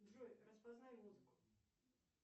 джой распознай музыку